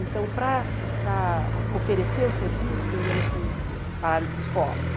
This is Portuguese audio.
Então, para para oferecer o serviço, ninguém nos conhecia, para as escolas.